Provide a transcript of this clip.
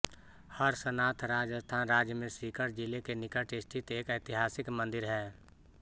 हर्षनाथ राजस्थान राज्य में सीकर जिले के निकट स्थित एक ऐतिहासिक मंदिर है